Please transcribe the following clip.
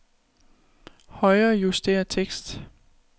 Højrejuster tekst.